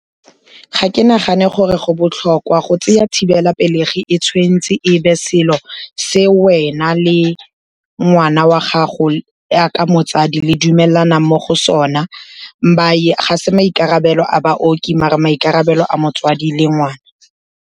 Ga ke nagane gore go botlhokwa, go tseya thibelapelegi e tshwentse e be selo se wena le ngwana wa gago ya ka motsadi le dumelanang mo go sona. Ga se maikarabelo a baoki mare maikarabelo a motsadi le ngwana.